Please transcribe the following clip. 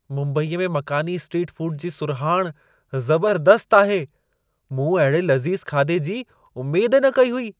मुंबईअ में मकानी स्ट्रीट फूड जी सुरहाणि ज़बर्दस्तु आहे। मूं अहिड़े लज़ीज़ खाधे जी उमेद ई न कई हुई।